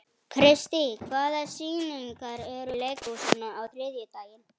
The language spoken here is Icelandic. Kristý, hvaða sýningar eru í leikhúsinu á þriðjudaginn?